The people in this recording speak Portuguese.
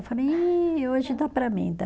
Eu falei, ih hoje dá para mim.